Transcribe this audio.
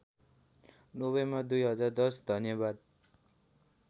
November २०१० धन्यवाद